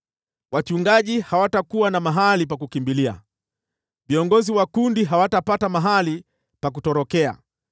Wachungaji hawatakuwa na mahali pa kukimbilia, viongozi wa kundi hawatapata mahali pa kutorokea.